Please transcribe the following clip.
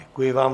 Děkuji vám.